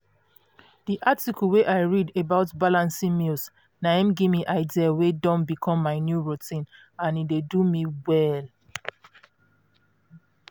that article wey i read about balancing meals na im give me idea wey don become my new routine and e dey do me well.